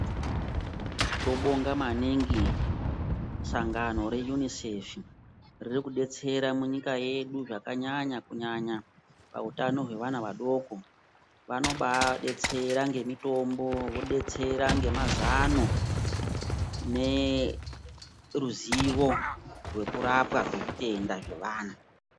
Tobonga maningi sangano reUNICEF riri kudetsera munyika yedu zvakanyanya kunyanya pautano hwevana vadoko vanobaadetsera ngemitombo vodetsera ngemazano neruzivo rwekurapwa kwezvitenda zvevana.